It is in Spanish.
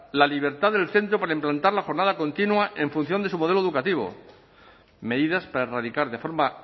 la libertad del centro para implantar la jornada continua en función de su modelo educativo medidas para erradicar de forma